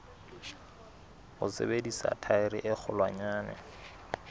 ho sebedisa thaere e kgolwanyane